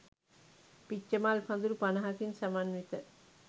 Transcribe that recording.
පිච්චමල් පඳුරු පනහකින් සමන්විත